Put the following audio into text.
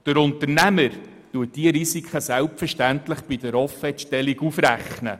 Der Unternehmer rechnet diese Risiken selbstverständlich bei der Offertstellung auf.